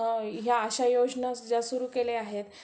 ह्या अश्या योजना ज्या सुरु केलेल्या आहेत